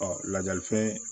lajali fɛn